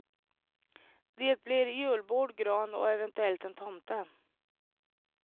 Det blir julbord, gran och eventuellt en tomte.